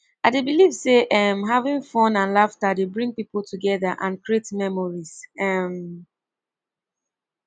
i dey believe say um having fun and laughter dey bring people together and create memories um